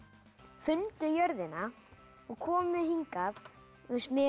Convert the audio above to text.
fundu jörðina og komu hingað með